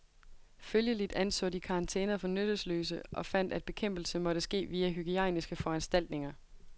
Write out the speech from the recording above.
Følgeligt anså de karantæner for nyttesløse og fandt at bekæmpelse måtte ske via hygiejniske foranstaltninger.